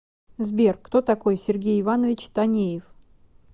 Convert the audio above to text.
сбер кто такой сергей иванович танеев